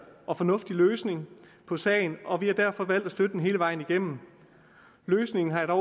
og fornuftig løsning på sagen og vi har derfor valgt at støtte den hele vejen igennem løsningen har